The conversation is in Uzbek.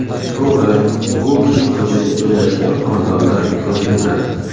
To‘g‘ri, bu kichik ko‘chada joylashgan xonadonlar ko‘p emas.